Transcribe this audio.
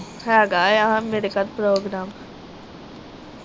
ਹੇਗਾ ਆ ਮੇਰੇ ਘਰ program